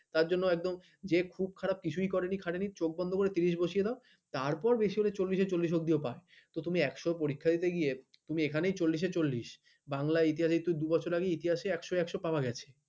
তার জন্য একদম যে খুব খারাপ কিছুই করেনি খাটনি চোখ বন্ধ করে তিরিস বসিয়ে দাও তারপর বেশি হলে চল্লিশ অব্দিও পায়, তুমি একশো পরীক্ষা দিতে গিয়ে তুমি, বাংলা ইতিহাসে কিন্তু দু'বছর আগেই ইতিহাসে একশ একশ পাওয়া গেছে।